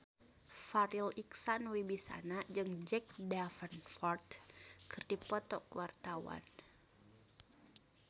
Farri Icksan Wibisana jeung Jack Davenport keur dipoto ku wartawan